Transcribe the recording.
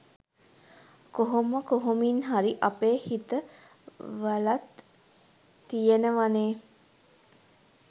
කොහොම කොහොමින් හරි අපේ හිත වලත් තියෙනවනේ